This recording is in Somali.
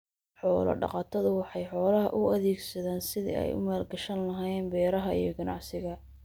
Xoolo-dhaqatodu waxay xoolaha u adeegsadaan sidii ay u maalgashan lahaayeen beeraha iyo ganacsiga.